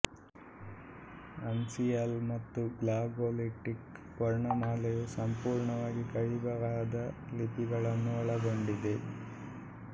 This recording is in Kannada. ಅನ್ಸಿಯಲ್ ಮತ್ತು ಗ್ಲಾಗೋಲಿಟಿಕ್ ವರ್ಣಮಾಲೆಯು ಸಂಪೂರ್ಣವಾಗಿ ಕೈಬರಹದ ಲಿಪಿಗಳನ್ನು ಒಳಗೊಂಡಿದೆ